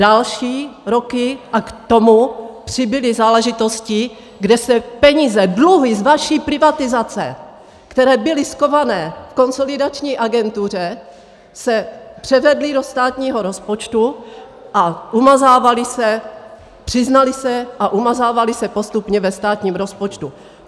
Další roky, a k tomu přibyly záležitosti, kde se peníze, dluhy z vaší privatizace, které byly schované v Konsolidační agentuře, se převedly do státního rozpočtu a umazávaly se, přiznaly se a umazávaly se postupně ve státním rozpočtu.